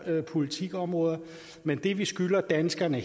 politikområder men det vi skylder danskerne